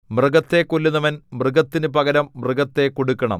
മൃഗത്തെ കൊല്ലുന്നവൻ മൃഗത്തിനു പകരം മൃഗത്തെ കൊടുക്കണം